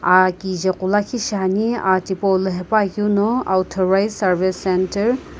aa kichae qo lakhi shiane aa thipou lo haepa keu na authorised centre .